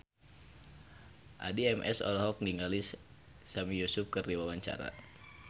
Addie MS olohok ningali Sami Yusuf keur diwawancara